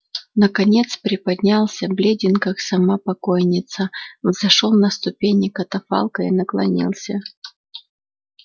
наконец приподнялся бледен как сама покойница взошёл на ступени катафалка и наклонился